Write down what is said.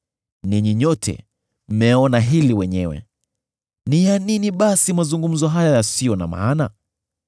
Ninyi nyote mmeona hili wenyewe. Ni ya nini basi mazungumzo haya yasiyo na maana?